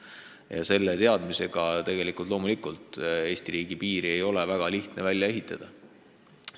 Ja loomulikult ei ole seetõttu Eesti riigi piiri lihtne välja ehitada.